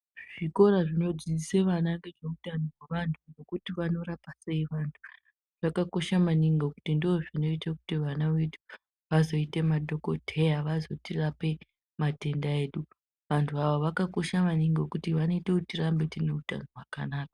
Zvikoro zvinodzidzise vandu zvekuti vanorapa sei vandu zvakakosha maningi ngekuti ndozvinoite kuti vana vedu vazoite madhokodheya vazotirape matenda edu vandu ava vakakosha maningi ngekuti vanoite kuti tirade tine utano hwakanaka